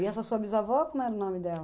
E essa sua bisavó, como era o nome dela?